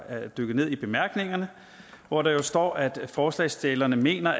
er dykket ned i bemærkningerne hvor der står at forslagsstillerne mener